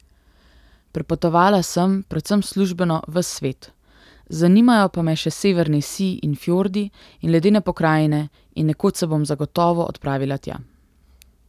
Prepotovala sem, predvsem službeno, ves svet, zanimajo pa me še severni sij in fjordi in ledene pokrajine in nekoč se bom zagotovo odpravila tja.